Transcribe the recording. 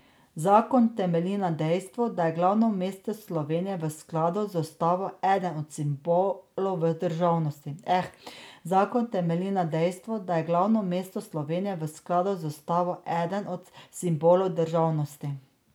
Zakon temelji na dejstvu, da je glavno mesto Slovenije v skladu z ustavo eden od simbolov državnosti.